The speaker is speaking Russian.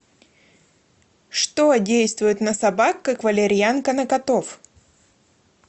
что действует на собак как валерьянка на котов